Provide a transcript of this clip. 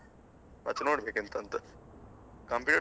ಮತ್ತೆ ನೋಡ್ಬೇಕು ಎಂತ ಅಂತ Computer science